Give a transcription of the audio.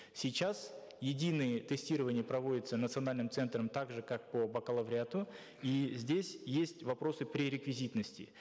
сейчас единое тестирование проводится национальным центром так же как по бакалавриату и здесь есть вопросы пререквизитности